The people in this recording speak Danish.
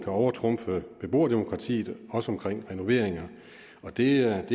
overtrumfe beboerdemokratiet også om renoveringer det er